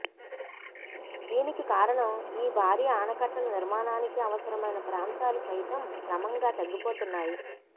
దీనికి కారణం ఈ భారీ ఆనకట్టల నిర్మాణానికి అవసరమైన ప్రాంతాలు సైతం క్రమంగా తగ్గిపోతున్నాయి